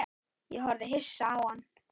Ég horfði hissa á hann.